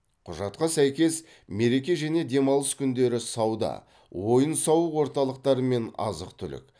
құжатқа сәйкес мереке және демалыс күндері сауда ойын сауық орталықтары мен азық түлік